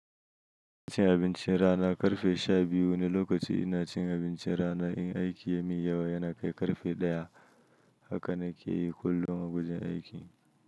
Ina cin abincin rana ƙarfe sha biyu, wani lokacin ina cin abincin rana, in aiki ya min yawa yana kai ƙarfe ɗaya, haka na ke yi kullum a wajen aiki.